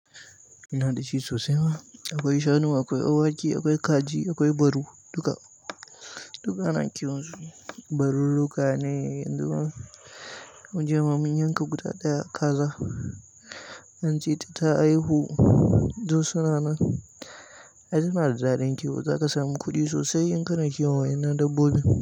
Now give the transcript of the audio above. Ina da shi sosai ma. Akwai shanu, akwai awaki, akwai kaji, akwai baru, duka. Duka ana kiwon su. Barurruka ne jiya ma mun yanka guda ɗaya kaza zan ce dai ta aihu Josunana, ai suna da daɗin kiwo, za ka sami kuɗi sosai in ka na kiwon wannan dabbobin.